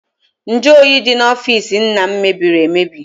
Nju oyi dị n'ọfịịsi nna m mebiri emebi.